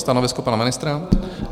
Stanovisko pana ministra?